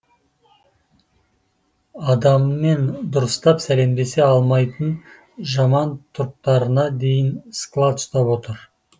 адаммен дұрыстап сәлемдесе алмайтын жаман тұрыптарына дейін склад ұстап отыр